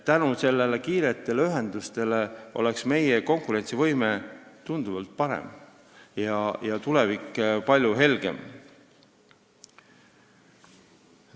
Tänu nendele oleks meie konkurentsivõime tunduvalt parem ja tulevik palju helgem.